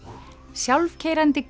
sjálfkeyrandi